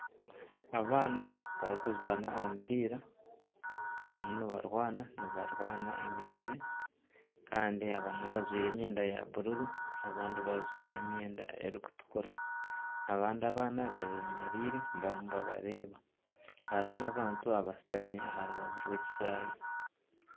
Abaana bari kuzaana omupiira barimu nibarwaana, nibarwaana emigyere, kandi abamwe bajwire emyenda ya bururu, abandi bajwire emyenda erikutukura, abandi abaana bemereire barimu ni babareeba. Hariho n'abantu abashutami ah rubaju rw'ekishayi.